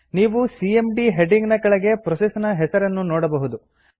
ನೀವು CMD heading ನ ಕೆಳಗೆ ಪ್ರೋಸೆಸ್ ನ ಹೆಸರನ್ನು ನೋಡಬಹುದು